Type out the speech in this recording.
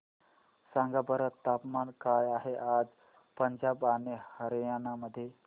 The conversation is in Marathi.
सांगा बरं तापमान काय आहे आज पंजाब आणि हरयाणा मध्ये